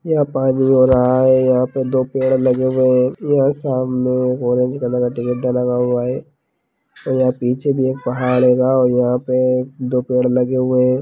यह पानी हो रहा है यहां पे दो पेड़ लगे हुए है यहां सामने एक ऑरेंज कलर का लगा हुआ है और यहां पीछे भी एक पहाड़ है और यहां पे दो पेड़ लगे हुए है।